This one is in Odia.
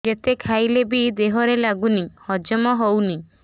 ଯେତେ ଖାଇଲେ ବି ଦେହରେ ଲାଗୁନି ହଜମ ହଉନି